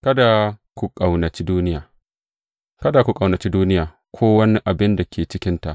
Kada ku ƙaunaci duniya Kada ku ƙaunaci duniya, ko wani abin da yake cikinta.